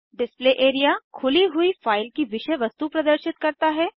display area खुली हुई file की विषय वस्तु प्रदर्शित करता है